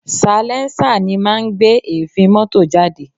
Salẹńsà ni máa ń gbé èéfín mọ́tò jáde